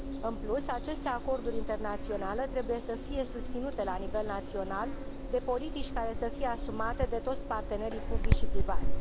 În plus, aceste acorduri internaționale trebuie să fie susținute la nivel național de politici care să fie asumate de toți partenerii publici și privați.